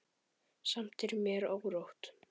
Samt er mér órótt.